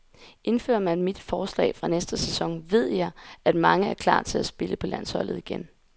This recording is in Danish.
Indfører man mit forslag fra næste sæson, ved jeg, at mange er klar til at spille på landsholdet igen.